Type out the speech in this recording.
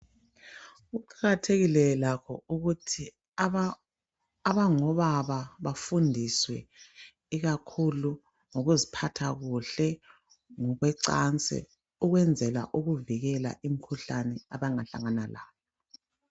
Kuqakathekile lakho ukuthi abangobaba bafundiswe ikakhulu ngokuziphatha kuhle ngokwecansi, ukwenzela ukuvikela imkhuhlane abangahlangana layo.